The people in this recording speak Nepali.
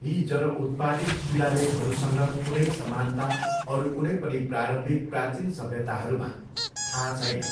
यी जन उत्पादित शिलालेखहरूसँग कुनै समानता अरू कुनै पनि प्रारम्भिक प्राचीन सभ्यताहरूमा थाहा छैन।